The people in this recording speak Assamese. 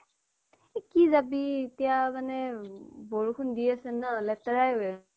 এ কি যবি এতিয়া মানে বৰষুণ দি আছে ন' লেতেৰাই হৈ আছে